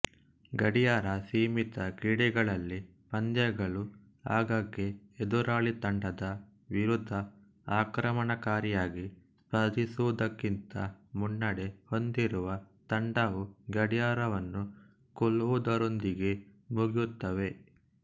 ಗಡಿಯಾರಸೀಮಿತ ಕ್ರೀಡೆಗಳಲ್ಲಿ ಪಂದ್ಯಗಳು ಆಗಾಗ್ಗೆ ಎದುರಾಳಿ ತಂಡದ ವಿರುದ್ಧ ಆಕ್ರಮಣಕಾರಿಯಾಗಿ ಸ್ಪರ್ಧಿಸುವುದಕ್ಕಿಂತ ಮುನ್ನಡೆ ಹೊಂದಿರುವ ತಂಡವು ಗಡಿಯಾರವನ್ನು ಕೊಲ್ಲುವುದರೊಂದಿಗೆ ಮುಗಿಯುತ್ತವೆ